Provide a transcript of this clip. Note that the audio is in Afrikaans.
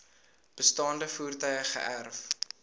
bestaande voertuie geërf